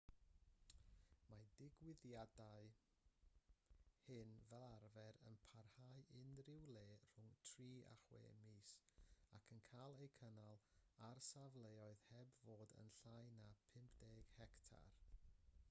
mae'r digwyddiadau hyn fel arfer yn parhau unrhyw le rhwng tri a chwe mis ac yn cael eu cynnal ar safleoedd heb fod yn llai na 50 hectar